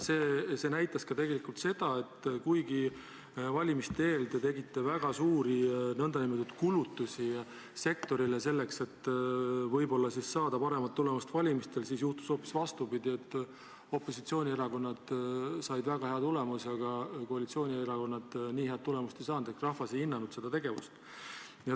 See näitas tegelikult seda, et kuigi valimiste eel te tegite väga suuri kulutusi sektoritele, et võib-olla saada paremat tulemust valimistel, siis juhtus hoopis vastupidi: opositsioonierakonnad said väga hea tulemuse, aga koalitsioonierakonnad nii head tulemust ei saanud ehk rahvas ei hinnanud seda tegevust.